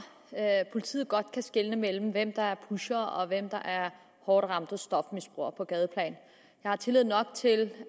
at politiet godt kan skelne mellem hvem der er pusher og hvem der er hårdt ramt stofmisbruger på gadeplan jeg har tillid nok til